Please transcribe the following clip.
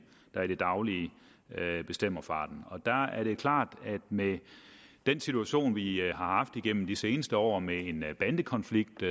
der i det daglige bestemmer farten der er det klart at med den situation vi har haft igennem de seneste år med en bandekonflikt